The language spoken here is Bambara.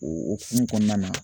O hukumu kɔnɔna na